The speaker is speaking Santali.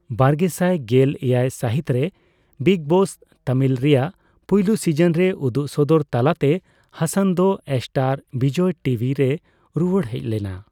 ᱵᱟᱨᱜᱮᱥᱟᱭ ᱜᱮᱞ ᱮᱭᱟᱭ ᱥᱟ.ᱦᱤᱛ ᱨᱮ ᱵᱤᱜᱽ ᱵᱚᱥ ᱛᱟᱢᱤᱞ ᱨᱮᱭᱟᱜ ᱯᱩᱭᱞᱩ ᱥᱤᱡᱚᱱ ᱨᱮ ᱩᱫᱩᱜᱥᱚᱫᱚᱨ ᱛᱟᱞᱟᱛᱮ ᱦᱟᱥᱟᱱ ᱫᱚ ᱮᱥᱴᱟᱨ ᱵᱤᱡᱚᱭ ᱴᱤᱵᱷᱤ ᱨᱮᱭ ᱨᱩᱣᱟᱹᱲ ᱦᱮᱡ ᱞᱮᱱᱟ ᱾